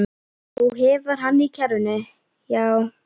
Þú hefur hann í kerrunni, já.